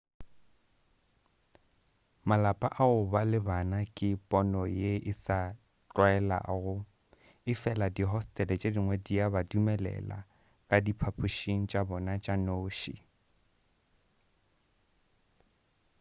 malapa a go ba le bana ke pono ye sa tlwaelegago efela dihostele tše dingwe di a ba dumelela ka diphaphušing tša bona tša noši